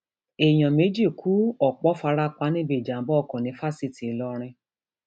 èèyàn méjì ku ọpọ fara pa níbi ìjàmbá ọkọ ní fásitì ìlọrin